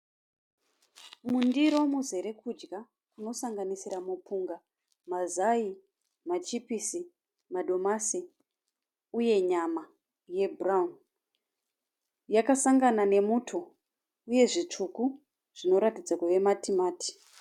Mundiro muzere kudya kunosanganisira mupunga, mazai, machipisi, madomasi uye nyama yebhurawuni. Yakasangana nemuto uye zvitsvuku zvinoratidza kuve matimati.